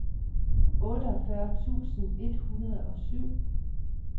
otteogfyrre tusind et hundrede og syv